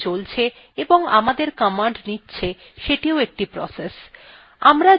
the shellthe চলছে এবং আমাদের commands নিচ্ছে সেটিও একটি process